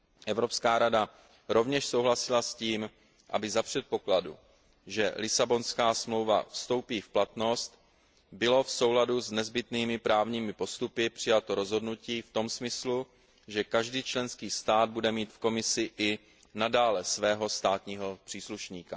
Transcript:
Evropská rada rovněž souhlasila s tím, aby za předpokladu, že Lisabonská smlouva vstoupí v platnost, bylo v souladu s nezbytnými právními postupy přijato rozhodnutí v tom smyslu, že každý členský stát bude mít v Komisi i nadále svého státního příslušníka.